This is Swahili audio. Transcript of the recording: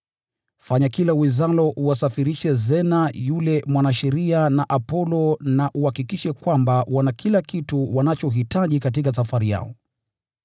Fanya kila uwezalo uwasafirishe Zena yule mwanasheria na Apolo na uhakikishe kwamba wana kila kitu wanachohitaji katika safari yao.